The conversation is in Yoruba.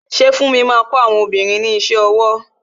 Ṣé funmi máa kọ àwọn obìnrin ní iṣẹ́ ọwọ?